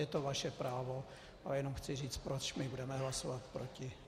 Je to vaše právo, ale jenom chci říci, proč my budeme hlasovat proti.